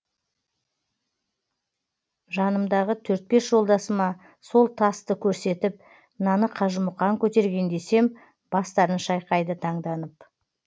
жанымдағы төрт бес жолдасыма сол тасты көрсетіп мынаны қажымұқан көтерген десем бастарын шайқайды таңданып